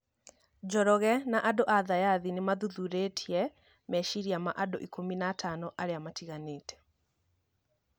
Njoroge na andũ a thayathi nĩmathuthurĩtie meciria ma andũ ikũmi na atano arĩa matiganĩte.